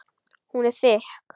Hún er þykk.